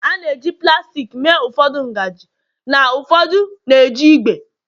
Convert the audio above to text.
a na-eji plastik mee ụfọdụ ngaji na ụfọdụ na-eji ígwè